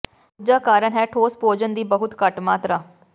ਦੂਜਾ ਕਾਰਨ ਹੈ ਠੋਸ ਭੋਜਨ ਦੀ ਬਹੁਤ ਘੱਟ ਮਾਤਰਾ